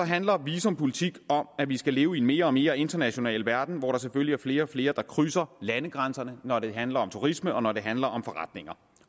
handler visumpolitik om at vi skal leve i en mere og mere international verden hvor der selvfølgelig er flere og flere der krydser landegrænserne når det handler om turisme og når det handler om forretninger